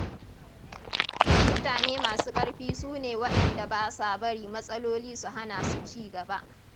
Mutane masu ƙarfi su ne waɗanda ba sa bari matsaloli su hana su cigaba.